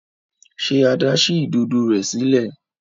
Ṣe Ada sí Ìdodo rẹ sílẹ̀?